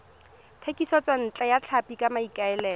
thekisontle ya tlhapi ka maikaelelo